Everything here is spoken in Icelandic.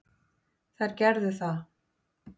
Þær gerðu það.